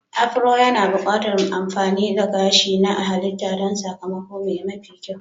Afro yana buƙatar amfani da gashi na halitta don sakamako mafi kyau.